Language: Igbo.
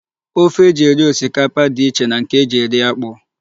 Ofe e ji eri osikapa dị iche na nke e ji eri akpụ.